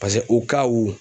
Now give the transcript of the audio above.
paseke